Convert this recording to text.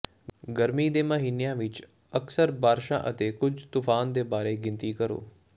ਗਰਮੀ ਦੇ ਮਹੀਨਿਆਂ ਵਿਚ ਅਕਸਰ ਬਾਰਸ਼ਾਂ ਅਤੇ ਕੁੱਝ ਤੂਫ਼ਾਨ ਦੇ ਬਾਰੇ ਗਿਣਤੀ ਕਰੋ